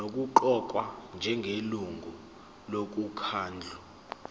nokuqokwa njengelungu lomkhandlu